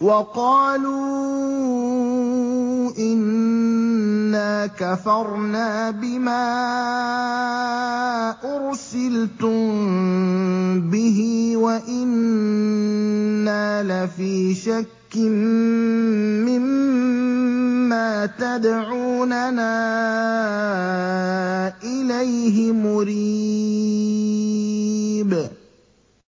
وَقَالُوا إِنَّا كَفَرْنَا بِمَا أُرْسِلْتُم بِهِ وَإِنَّا لَفِي شَكٍّ مِّمَّا تَدْعُونَنَا إِلَيْهِ مُرِيبٍ